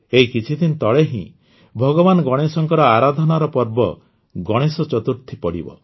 ଏଇ କିଛିଦିନ ପରେ ହିଁ ଭଗବାନ ଗଣେଶଙ୍କ ଆରାଧନାର ପର୍ବ ଗଣେଶ ଚତୁର୍ଥୀ ପଡ଼ିବ